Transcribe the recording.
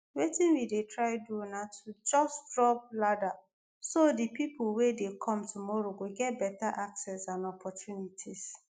"wetin we dey try do na to just drop ladder so di pipo wey dey come tomorrow go get beta access and opportunities."